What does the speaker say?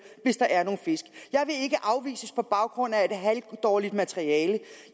hvis der er nogle fisk jeg vil ikke afvises på baggrund af et halvdårligt materiale